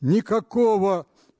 никакого